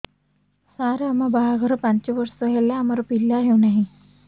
ସାର ଆମ ବାହା ଘର ପାଞ୍ଚ ବର୍ଷ ହେଲା ଆମର ପିଲା ହେଉନାହିଁ